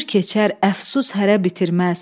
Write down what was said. Ömür keçər, əfsus hərə bitirməz.